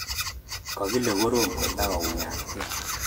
Kakile korom kotakounyatkei